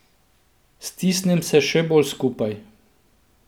Stisnem se še bolj skupaj.